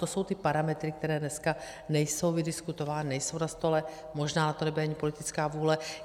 To jsou ty parametry, které dneska nejsou vydiskutovány, nejsou na stole, možná na to nebude ani politická vůle.